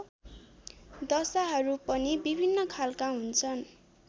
दशाहरू पनि विभिन्न खालका हुन्छन्